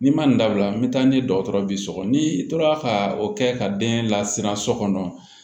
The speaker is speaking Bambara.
N'i ma nin dabila n bɛ taa ni dɔgɔtɔrɔ b'i sɔgɔ n'i tora ka o kɛ ka den lasiran so kɔnɔ